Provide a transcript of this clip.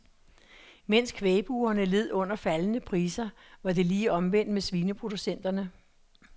Mens kvægbrugerne led under faldende priser var det lige omvendt for svineproducenterne.